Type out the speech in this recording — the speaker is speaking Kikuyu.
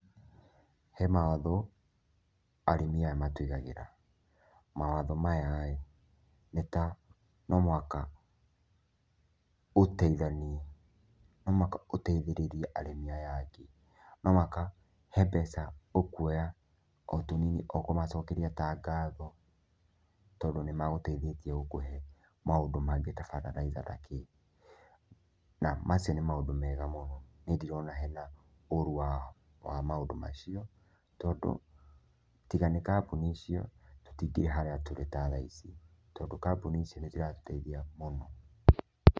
He mawatho arĩmi aya matũigagĩra, mawatho mayaĩ, nĩ ta no mũhaka ũteithanie no mũhaka ũteithĩrĩrie arĩmi aya angĩ, no mũhaka he mbeca ũkuoya o tũnini o kũmacokeria ta ngatho, tondũ nĩ magũteithĩtie gũkũhe maũndũ mangĩ ta bataraithana kĩ, na macio nĩ maũndũ mega mũno, niĩ ndirona hena ũru wa maũndũ macio tondũ tiga nĩ kambuni icio, tũtingĩrĩ harĩa tũrĩ ta thaa ici, tondũ kambuni ici nĩ ciratũteithia mũno.